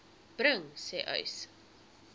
bring sê uys